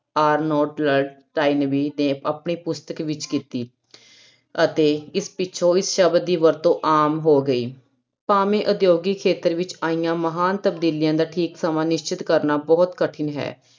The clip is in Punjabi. ਤਾਇਨਵੀ ਨੇ ਆਪਣੀ ਪੁਸਤਕ ਵਿੱਚ ਕੀਤੀ ਅਤੇ ਇਸ ਪਿੱਛੋਂ ਇਸ ਸ਼ਬਦ ਦੀ ਵਰਤੋਂ ਆਮ ਹੋ ਗਈ, ਭਾਵੇਂ ਉਦਯੋਗਿਕ ਖੇਤਰ ਵਿੱਚ ਆਈਆਂ ਮਹਾਨ ਤਬਦੀਲੀਆਂ ਦਾ ਠੀਕ ਸਮਾਂ ਨਿਸ਼ਚਤ ਕਰਨਾ ਬਹੁਤ ਕਠਿਨ ਹੈ l